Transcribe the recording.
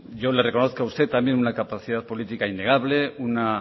yo le reconozco a usted también una capacidad política innegable una